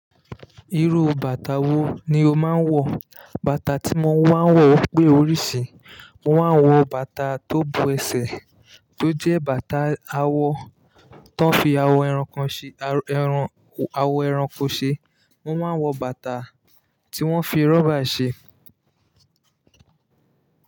Irú bàtà wo ni o máa ń wọ̀? Bàtà tí mo máa ń wọ̀ pé oríṣìí. Mo máa ń wọ bàtà tó bo ẹsẹ̀ tó jẹ́ bàtà awọ ti woń fi àwo ẹranko ṣe, mo máa wọ bàtà tí wọ́n fi rọ́bà ṣe.